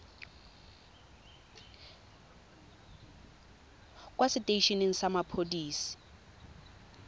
kwa setei eneng sa mapodisi